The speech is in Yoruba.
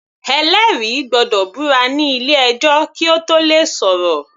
Ẹlẹ́rìí gbọ́dọ̀ búra nílé ẹjọ́ kí Ó tóò le sọ̀rọ̀.